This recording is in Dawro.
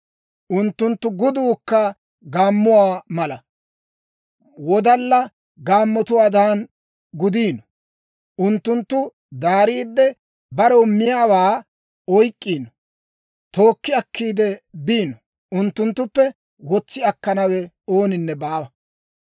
Unttunttu guduukka gaammoo mala; wodalla gaammotuwaadan gudiino; unttunttu daariidde, barew miyaawaa oyk'k'iino; tookki akkiide biino; unttunttuppe wotsi akkanawe ooninne baawa.